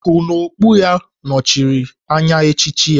Nku n'okpu ya nọchiri anya echichi ya